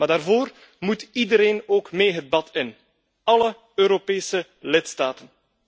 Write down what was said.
Maar daarvoor moet iedereen ook mee het bad in, alle Europese lidstaten.